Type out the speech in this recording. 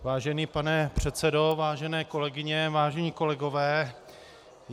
Vážený pane předsedo, vážené kolegyně, vážení kolegové.